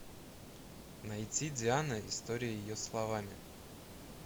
найти диана история ее словами